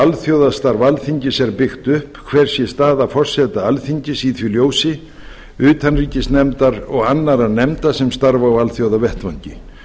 alþjóðastarf alþingis er byggt upp hver sé staða forseta alþingis í því ljósi utanríkisnefndar og annarra nefnda sem starfa á alþjóðavettvangi